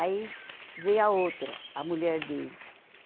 Aí veio a outra, a mulher dele.